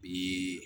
Bi